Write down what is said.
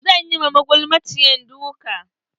Zan yi ma magulmaciyar duka.